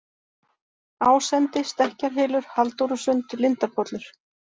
Ásendi, Stekkjarhylur, Halldórusund, Lindarpollur